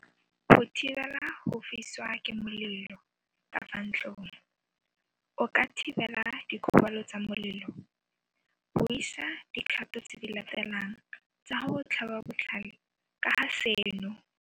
Go thibela go fisiwa ke moleloKa fa ntlong o ka thibela dikgobalo tsa molelo. Buisa dikgato tse di latelang tsa go go tlhaba botlhale ka ga seno.